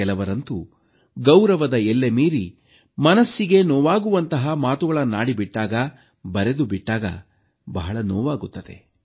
ಕೆಲವರಂತೂ ಗೌರವದ ಎಲ್ಲೆಮೀರಿ ಮನಸ್ಸಿಗೆ ನೋವಾಗುವಂತಹ ಮಾತುಗಳನ್ನಾಡಿಬಿಟ್ಟಾಗ ಬರೆದುಬಿಟ್ಟಾಗ ಬಹಳ ನೋವಾಗುತ್ತದೆ